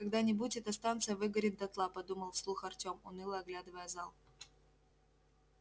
когда-нибудь эта станция выгорит дотла подумал вслух артём уныло оглядывая зал